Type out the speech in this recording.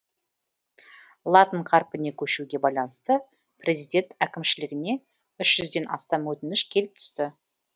латын қарпіне көшуге байланысты президент әкімшілігіне үш жүзден астам өтініш келіп түсті